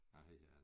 Hvad hedder det